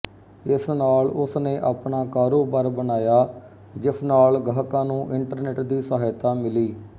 ਇਸ ਨਾਲ ਉਸ ਨੇ ਆਪਣਾ ਕਾਰੋਬਾਰ ਬਣਾਇਆ ਜਿਸ ਨਾਲ ਗਾਹਕਾਂ ਨੂੰ ਇੰਟਰਨੈਟ ਦੀ ਸਹਾਇਤਾ ਮਿਲੀ